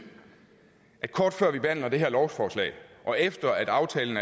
at kort før vi behandler det her lovforslag og efter at aftalen